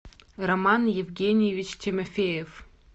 роман евгеньевич тимофеев